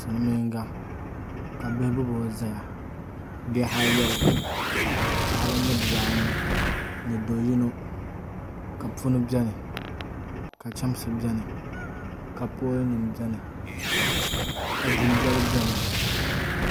Silmiinga ka bihi gbubo ʒɛya bihi ayobu paɣaba ni bibaa anu ni do yino ka puni biɛni ka chɛmsi biɛni ka pool nim biɛni ka dundoli biɛni